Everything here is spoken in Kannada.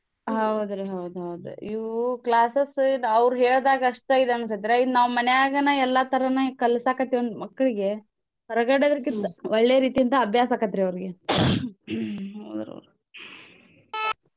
ಹೌದ್ರಿ ಹೌದ್ ಹೌದ್ ಇವು classes ಅವ್ರ್ ಹೇಳ್ದಾಗ್ಷ್ಟ ಇದ್ ಅನ್ಸತ್ರ ನಾವ್ ಮಾನ್ಯಾಗನ ಎಲ್ಲಾ ತರಾನೂ ಕಲ್ಸಾಕತ್ತೇವಂದ್ರ್ ಮಕ್ಳ್ಗೆ ಹೊರ್ಗಡೆದ್ರ್ಕಿಂತ ಒಳ್ಳೆ ರೀತಿಂದ ಅಬ್ಯಾಸಾಕತ್ರೀ ಅವ್ರ್ಗೆ .